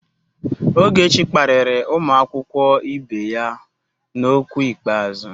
Ogechi kparịrị ụmụ akwụkwọ ibe ya n'okwu ikpeazụ.